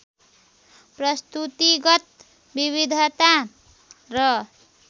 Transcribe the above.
प्रस्तुतिगत विविधता र